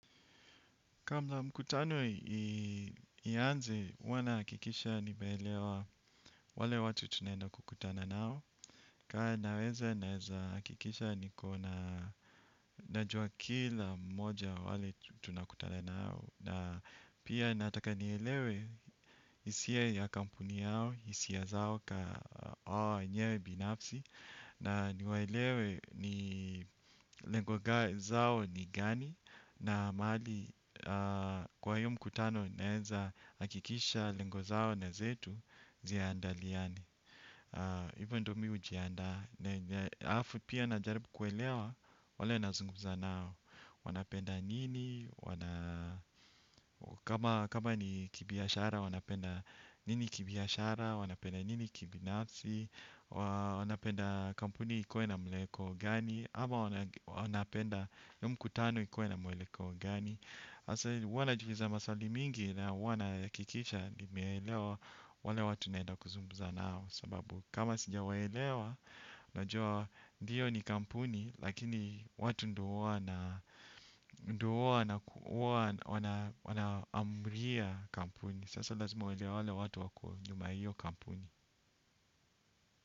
Kabla mkutano ianze huwa nahakikisha nimeelewa wale watu tunaenda kukutana nao, kama naweza, naweza hakikisha niko na najua kila mmoja wale tunakutana nao. Na pia nataka nielewe hisia ya kampuni yao, hisia zao ka hao wenyewe binafsi. Na niwaelewe ni lengo zao ni gani na mahali kwa hiyo mkutano naweza hakikisha lengo zao na zetu ziandaliani. Hivyo ndio mi hujiandaa na alafu pia najaribu kuelewa wale nazungumza nao. Wanapenda nini, kama ni kibiashara wanapenda nini kibiashara, wanapenda nini kibinafsi, wanapenda kampuni ikuwe na mwelekeo gani ama wanapenda huu mkutano ikuwe na mwelekeo gani. Hasaa hivi huwa najiuliza maswali mingi na huwa nahakikisha nimeelewa wale watu naenda kuzumgumza nao sababu kama sijawaelewa, najua ndiyo ni kampuni lakini watu ndiyo huwa wana ndio huwa wanaamria kampuni. Sasa lazima waelewane watu wako nyuma ya hiyo kampuni.